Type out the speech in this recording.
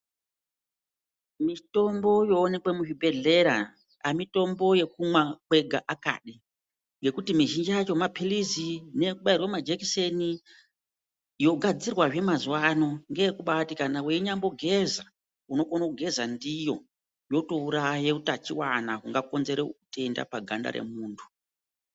Mitombo yoonekwe muzvibhedhlera amitombo yekumwa kwega akadi ngekuti mizhinji yacho maphilizi nekubairwe majekiseni yogadzirwazve mazuvaano ngeyekuti kana weinyambogeza unokone kugeza ndiyo yotouraye utachiwana hungakonzera utenda paganda remuntu.